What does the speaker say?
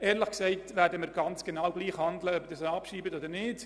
Ehrlich gesagt, werden wir genau gleich handeln, ob Sie sie abschreiben oder nicht.